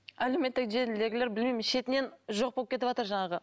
әлеуметтік желідегілер білмеймін шетінен жоқ болып кетіватыр жаңағы